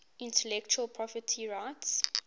intellectual property rights